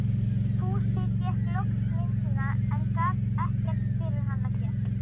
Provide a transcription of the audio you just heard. Fúsi fékk loks myndina, en gat ekkert fyrir hana gert.